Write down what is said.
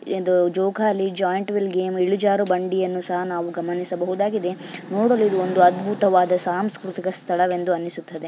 ಇದು ಜೋಕಾಲಿ giant wheel game ಇಳಿಜಾರು ಬಂಡಿಯನ್ನು ಸಹ ನಾವು ಗಮನಿಸಬಹುದಾಗಿದೆ ನೋಡಲು ಇದು ಒಂದು ಅದ್ಭುತವಾದ ಸಾಂಸ್ಕೃತಿಕ ಸ್ಥಳವೆಂದು ಅನಿಸುತ್ತದೆ.